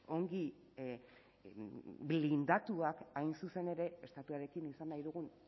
ongi blindatuak hain zuzen ere estatuarekin izan nahi dugun